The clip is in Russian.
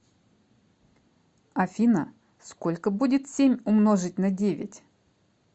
афина сколько будет семь умножить на девять